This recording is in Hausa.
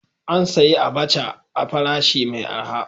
An sayi abaca a farashi mai araha.